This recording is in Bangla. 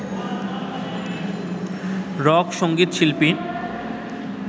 রক সঙ্গীত শিল্পী